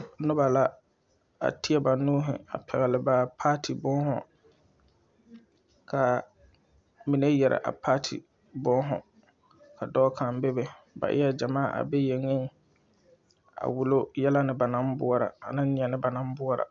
Nobɔ la a teɛ ba nuuhi a pɛgle ba paati būūhū kaa mine yɛre a paati būūhū ka dɔɔ kaŋ bebe ba eɛɛ gyamaa a be yeŋeŋ a wullo yɛlɛ ne ba naŋ boɔrɔ aneŋ neɛ ba naŋ boɔrɔ.